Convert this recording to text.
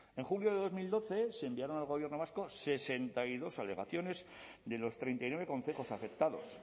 en julio de dos mil doce se enviaron al gobierno vasco sesenta y dos alegaciones de los treinta y nueve concejos afectados